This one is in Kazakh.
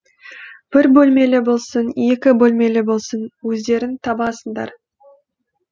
бір бөлмелі болсын екі бөлмелі болсын өздерің табасыңдар